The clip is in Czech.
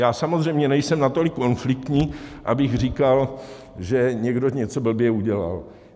Já samozřejmě nejsem natolik konfliktní, abych říkal, že někdo něco blbě udělal.